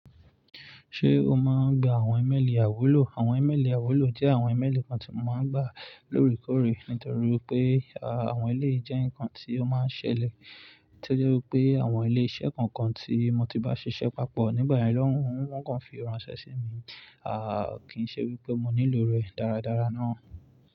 Ṣé o máa ń gba àwọn ìmẹ́lì àwúlò? Àwọn ìmẹ́lì àiwúlò jẹ́ àwọn ìmẹ́lì kan tí mo máa ń gbà lóòrèkóòrè nítorí pé àwọn eléyìí jẹ́ nǹkan tí ó máa ń ṣẹlẹ̀. Torí pé àwọn ilé iṣẹ́ kọ̀ọ̀kan tí mo ti bá ṣiṣẹ́ papọ̀ nígbà yen, wọ́n kọ̀ fi ránṣẹ́ sí mi. À kíì ṣe wí pé mo nílò rẹ̀ dáradára ná.